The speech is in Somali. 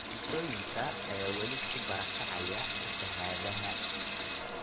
Bulshooyinka ayaa weli ku barakacaya fatahaadaha.